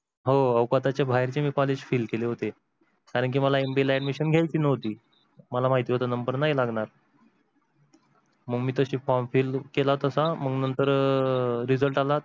हो हो औकातीच्या बाहेर चे मी college फील केले होते कारण की मला MBA ला admission घ्यायची नव्हती मला माहीत होत number नाही लागणार. मग मी form fill केला तसा मग नंतर अह result आला